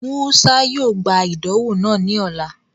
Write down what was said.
Musa yoo gba idanwo naa ni ọla.